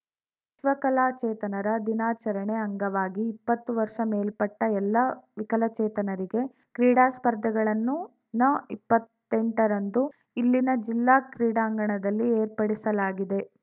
ವಿಶ್ವ ಕಲಾಚೇತನರ ದಿನಾಚರಣೆ ಅಂಗವಾಗಿ ಇಪ್ಪತ್ತು ವರ್ಷ ಮೇಲ್ಪಟ್ಟಎಲ್ಲಾ ವಿಕಲಚೇತನರಿಗೆ ಕ್ರೀಡಾ ಸ್ಪರ್ಧೆಗಳನ್ನು ನಇಪ್ಪತ್ತೆಂಟರಂದು ಇಲ್ಲಿನ ಜಿಲ್ಲಾ ಕ್ರೀಡಾಂಗಣದಲ್ಲಿ ಏರ್ಪಡಿಸಲಾಗಿದೆ